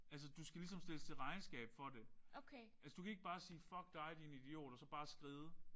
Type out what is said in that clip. Altså du skal ligesom stilles til regnskab for det. Altså du kan ikke bare sige fuck dig din idiot og så bare skride